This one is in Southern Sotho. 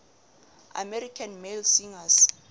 american male singers